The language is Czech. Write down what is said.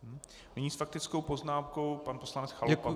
Nyní s faktickou poznámkou pan poslanec Chalupa.